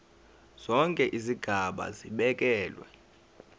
zonke izigaba zibekelwe